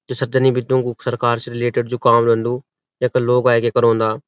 जू सध्य निमित्रों कु सरकार से रिलेटेड जू काम रंदु यख लोग अैके करोंदा।